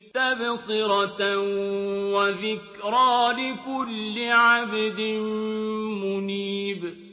تَبْصِرَةً وَذِكْرَىٰ لِكُلِّ عَبْدٍ مُّنِيبٍ